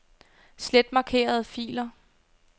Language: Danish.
Slet markerede filer.